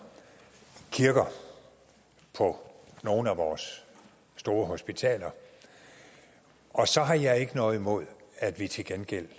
kirker på nogle af vores store hospitaler og så har jeg ikke noget mod at vi til gengæld